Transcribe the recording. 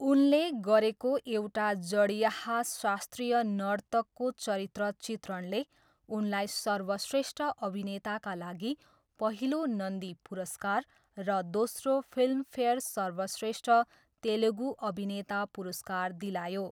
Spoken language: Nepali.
उनले गरेको एउटा जँड्याहा शास्त्रीय नर्तकको चरित्रचित्रणले उनलाई सर्वश्रेष्ठ अभिनेताका लागि पहिलो नन्दी पुरस्कार र दोस्रो फिल्मफेयर सर्वश्रेष्ठ तेलुगु अभिनेता पुरस्कार दिलायो।